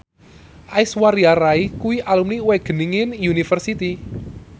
Aishwarya Rai kuwi alumni Wageningen University